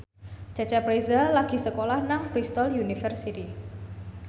Cecep Reza lagi sekolah nang Bristol university